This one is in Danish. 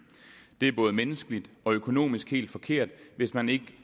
det er både menneskeligt og økonomisk helt forkert hvis man ikke